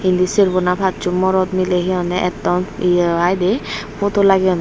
indi serbo na passo morod mily hehonne etton ye i de photo lagiyonne.